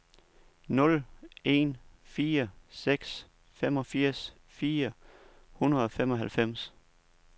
nul en fire seks femogfirs fire hundrede og femoghalvfems